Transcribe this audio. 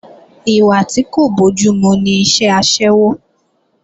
Ìwà tí kò bójúmu ni iṣẹ́ aṣẹ́wó